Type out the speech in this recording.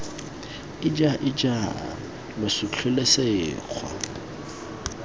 ija ija lo sutlhile sekgwa